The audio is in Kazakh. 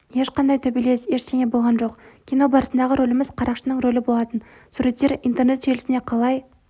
ешқандай төбелес ештеңе болған жоқ кино барысындағы рөліміз қарақшының рөлі болатын суреттер интернет желісіне қалай